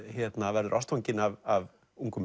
verður ástfanginn af ungum